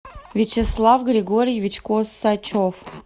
вячеслав григорьевич косачев